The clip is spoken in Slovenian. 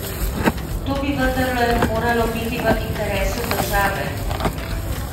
To bi vendarle moralo biti v interesu države!